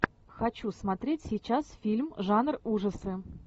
хочу смотреть сейчас фильм жанр ужасы